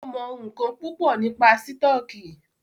Ó mọ̀ ńńkan púpọ̀ nípa sítọ̀kì.